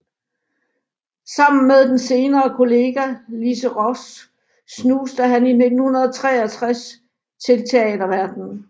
Sammen med den senere kollega Lise Roos snuste han i 1963 til teaterverdenen